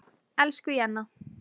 Elsku Jenna.